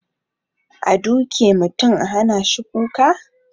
A duke mutum a hanashi kuka?